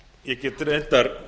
ég get reyndar